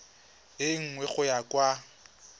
e nngwe go ya kwa